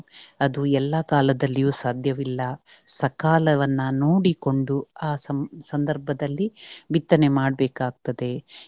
ಅದು ಎಲ್ಲ ಕಾಲದಲ್ಲಿಯೂ ಸಾಧ್ಯವಿಲ್ಲ. ಸಕಾಲವನ್ನ ನೋಡಿಕೊಂಡು ಆ ಸಂಧ~ ಸಂಧರ್ಭದಲ್ಲಿ ಬಿತ್ತನೆ ಮಾಡಬೇಕಾಗ್ತದೆ.